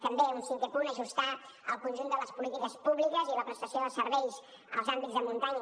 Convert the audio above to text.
també un cinquè punt ajustar el conjunt de les polítiques públiques i la prestació de serveis als àmbits de muntanya